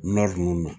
ninnu na